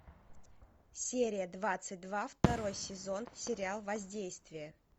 серия двадцать два второй сезон сериал воздействие